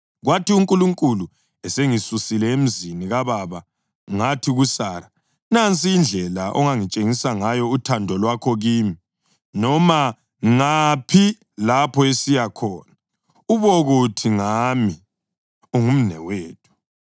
Kwathi uNkulunkulu esengisusile emzini kababa ngathi kuSara, ‘Nansi indlela ongatshengisa ngayo uthando lwakho kimi: Noma ngaphi lapho esiya khona, ubokuthi ngami, “Ungumnewethu.” ’”